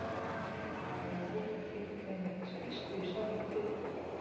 en nái einhvern veginn ekki festu í sárri kviku